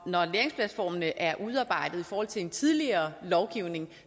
når læringsplatformene er udarbejdet i forhold til en tidligere lovgivning